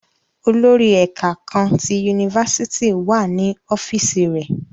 Olori ẹka kaan ti unifásitì náa wa ni ọfiisi rẹ.